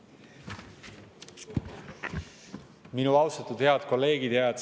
Minu austatud head kolleegid!